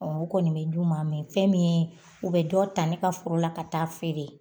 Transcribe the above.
o kɔni bɛ d'u ma, fɛn min ye, u bɛ dɔ ta ne ka foro la, ka taa feere.